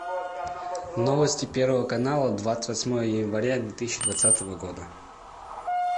новости первого канала двадцать восьмое января две тысячи двадцатого года